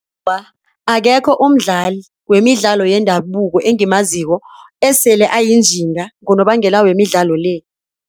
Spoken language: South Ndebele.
Awa, akekho umdlali wemidlalo yendabuko engimaziko osele ayinjinga ngonobangela wemidlalo le.